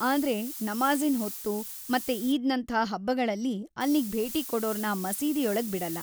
ಆದ್ರೆ ನಮಾಝಿನ್ ಹೊತ್ತು ಮತ್ತೆ ಈದ್‌ನಂಥ ಹಬ್ಬಗಳಲ್ಲಿ ಅಲ್ಲಿಗ್‌ ಭೇಟಿ ಕೊಡೋರ್ನ ಮಸೀದಿಯೊಳಗ್ ಬಿಡಲ್ಲ.